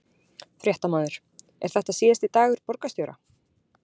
Fréttamaður: Er þetta síðasti dagur borgarstjóra?